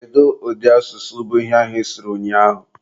Kedu ụdị asụsụ bụ ihe ahụ ịsụrụ ụnyaahụ?